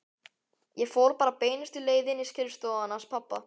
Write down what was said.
Ég fór bara beinustu leið inn í skrifstofuna hans pabba.